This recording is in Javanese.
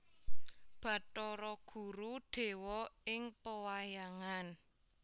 Bathara Guru dewa ing pewayangan